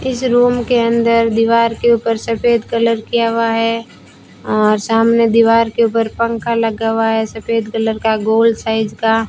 इस रूम के अंदर दीवार के ऊपर सफेद कलर किया हुआ है और सामने दीवार के ऊपर पंखा लगा हुआ है सफेद कलर का गोल साइज का।